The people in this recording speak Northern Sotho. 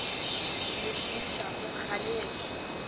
le šomišago ga le ešo